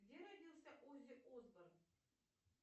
где родился оззи осборн